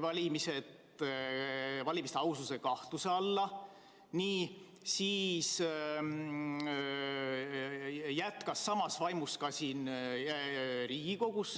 valimiste aususe kahtluse alla, jätkas samas vaimus ka siin Riigikogus?